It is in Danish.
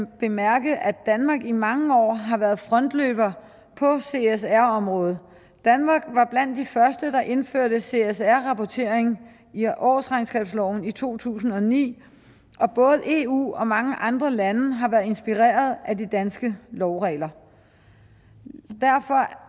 bemærke at danmark i mange år har været frontløber på csr området danmark var blandt de første der indførte csr rapportering i årsregnskabsloven i to tusind og ni og både eu og mange andre lande har været inspireret af de danske lovregler derfor